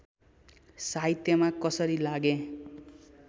साहित्यमा कसरी लागेँ